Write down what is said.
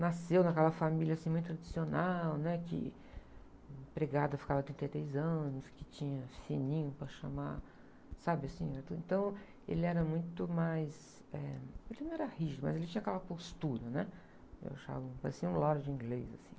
nasceu naquela família, assim, muito tradicional, né? Que empregada ficava trinta e três anos, que tinha sininho para chamar, sabe assim? Era tudo, então, ele era muito mais, eh, ele não era rígido, mas ele tinha aquela postura, né? Eu achava, parecia um lorde inglês, assim...